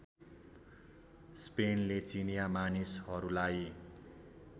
स्पेनले चिनिया मानिसहरूलाई